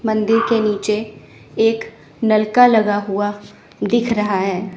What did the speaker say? मंदिर के नीचे एक नलका लगा हुआ दिख रहा है।